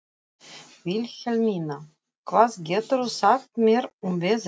Vilhelmína, hvað geturðu sagt mér um veðrið?